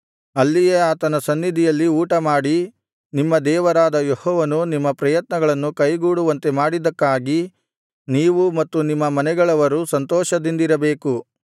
ಅಲ್ಲಿಯೇ ಆತನ ಸನ್ನಿಧಿಯಲ್ಲಿ ಊಟಮಾಡಿ ನಿಮ್ಮ ದೇವರಾದ ಯೆಹೋವನು ನಿಮ್ಮ ಪ್ರಯತ್ನಗಳನ್ನು ಕೈಗೂಡುವಂತೆ ಮಾಡಿದ್ದಕ್ಕಾಗಿ ನೀವೂ ಮತ್ತು ನಿಮ್ಮ ಮನೆಗಳವರೂ ಸಂತೋಷದಿಂದಿರಬೇಕು